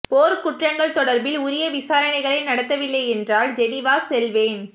போர் குற்றங்கள் தொடர்பில் உரிய விசாரணைகளை நடத்தவில்லை என்றால் ஜெனிவா செல்வேன்